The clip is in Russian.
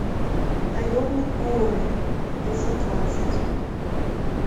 наемник куорри эпизод двадцать